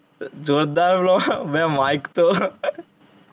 જોરદાર લો બે Mike તો